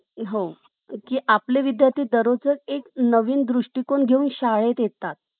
बाकी सर्वांचे प्रेम मात्र वेळेनुसार बदलत असते या मतलबी दुनियेत फक्त आई हीच आपली म्हणून रहात असते